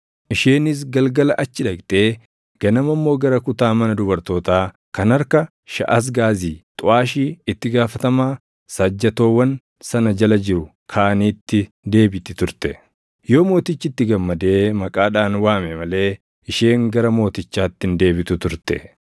Isheenis galgala achi dhaqxee ganama immoo gara kutaa mana dubartootaa kan harka Shaʼasgaazi xuʼaashii itti gaafatamaa saajjatoowwan sana jala jiru kaaniitti deebiti turte; yoo mootichi itti gammadee maqaadhaan waame malee isheen gara mootichaatti hin deebitu turte.